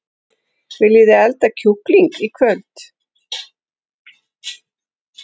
Viljiði elda kjúkling í kvöld?